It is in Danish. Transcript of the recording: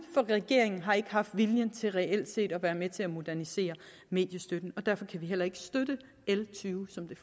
for regeringen har ikke haft viljen til reelt set at være med til at modernisere mediestøtten derfor kan vi heller ikke støtte l tyve som det